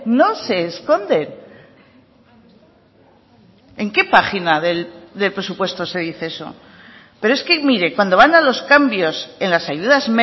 no se esconde en qué página del presupuesto se dice eso pero es que mire cuando van a los cambios en las ayudas